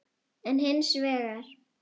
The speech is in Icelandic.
en hins vegar